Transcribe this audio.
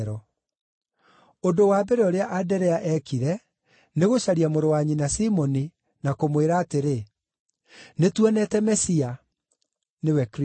Ũndũ wa mbere ũrĩa Anderea eekire nĩgũcaria mũrũ wa nyina Simoni, na kũmwĩra atĩrĩ, “Nĩtuonete Mesia” (nĩwe Kristũ).